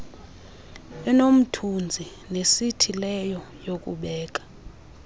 enomthunzi nesithileyo yokubeka